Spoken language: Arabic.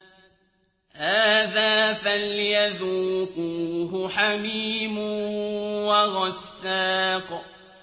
هَٰذَا فَلْيَذُوقُوهُ حَمِيمٌ وَغَسَّاقٌ